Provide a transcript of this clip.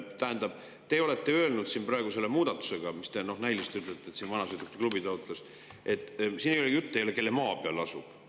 Tähendab, praegu teie selles muudatuses, mille kohta te näiliselt ütlete, et vanasõidukite klubi taotles seda, ei ole juttu sellest, kelle maa peal asub.